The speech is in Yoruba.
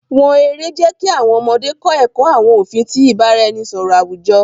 Wọn èrè jẹ̀ kí àwọn ọ̀mọdé kọ̀ ẹkọ̀ àwọn ofin ti ìbàráẹ̀nisọ̀rọ̀ awujo.